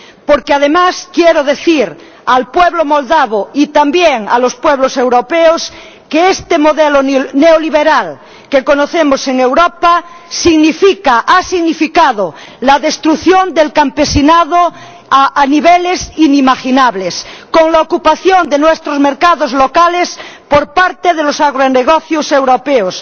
Porque, además, quiero decir al pueblo moldavo y también a los pueblos europeos que este modelo neoliberal que conocemos en Europa ha significado la destrucción del campesinado a niveles inimaginables, con la ocupación de nuestros mercados locales por parte de los agronegocios europeos